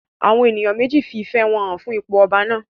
Àwọn èèyàn méjì fi ìfẹ́ wọn hàn fún ipò ọba náà